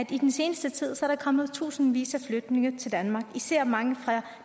i den seneste tid er kommet tusindvis af flygtninge til danmark især mange fra